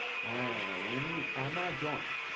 হ্যাঁ অমনি আমাজন